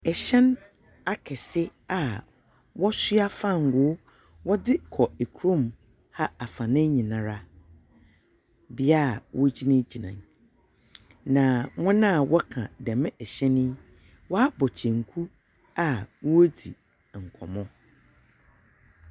Ɛhyɛn akɛse aa wɔsua fangoo wɔde kɔ ɛkrom ha afana nyinaara bea aa wɔgyina gyina nyi. Na wɔn aa wɔka dɛm ɛhyɛn yi waabɔ kyenku aa wɔ redzi ɛnkɔmɔ.